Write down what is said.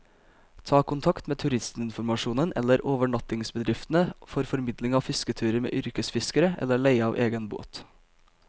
Ta kontakt med turistinformasjonen eller overnattingsbedriftene for formidling av fisketurer med yrkesfiskere, eller leie av egen båt.